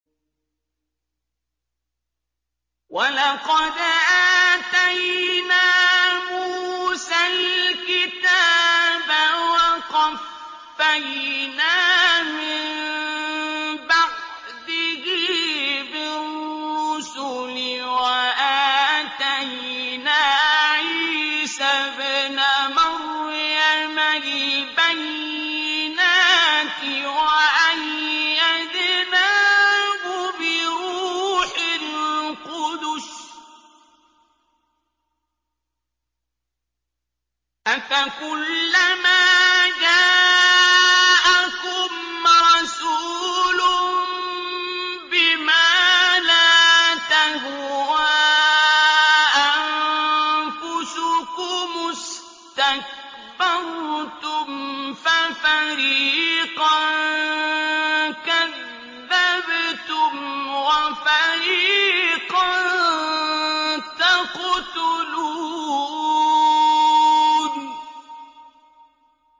وَلَقَدْ آتَيْنَا مُوسَى الْكِتَابَ وَقَفَّيْنَا مِن بَعْدِهِ بِالرُّسُلِ ۖ وَآتَيْنَا عِيسَى ابْنَ مَرْيَمَ الْبَيِّنَاتِ وَأَيَّدْنَاهُ بِرُوحِ الْقُدُسِ ۗ أَفَكُلَّمَا جَاءَكُمْ رَسُولٌ بِمَا لَا تَهْوَىٰ أَنفُسُكُمُ اسْتَكْبَرْتُمْ فَفَرِيقًا كَذَّبْتُمْ وَفَرِيقًا تَقْتُلُونَ